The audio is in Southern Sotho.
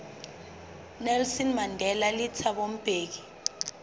nelson mandela le thabo mbeki